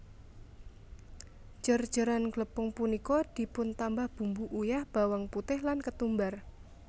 Jer jeran glepung punika dipuntambah bumbu uyah bawang putih lan ketumbar